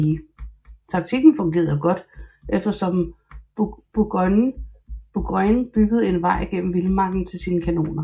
Taktikken fungerede godt eftersom Burgoyne byggede en vej gennem vildmarken til sine kanoner